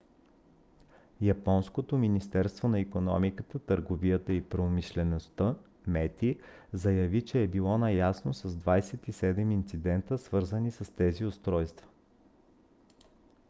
японското министерство на икономиката търговията и промишлеността мети заяви че е било наясно с 27 инцидента свързани с тези устройства